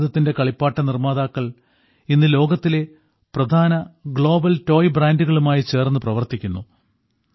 ഭാരതത്തിന്റെ കളിപ്പാട്ട നിർമ്മാതാക്കൾ ഇന്ന് ലോകത്തിലെ പ്രധാന ഗ്ലോബൽ ടോയ് ബ്രാൻഡുകളുമായി ചേർന്ന് പ്രവർത്തിക്കുന്നു